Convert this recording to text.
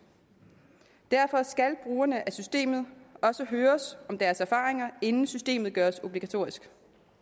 derfor skal brugerne af systemet også høres om deres erfaringer inden systemet gøres obligatorisk